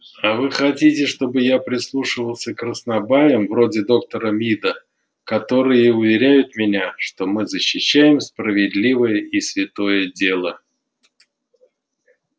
а вы хотите чтобы я прислушивался к краснобаям вроде доктора мида которые уверяют меня что мы защищаем справедливое и святое дело